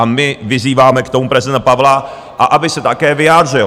A my vyzýváme k tomu prezidenta Pavla, a aby se také vyjádřil.